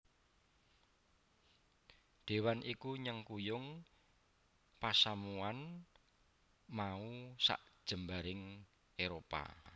Déwan iki nyengkuyung pasamuwan mau sajembaring Éropah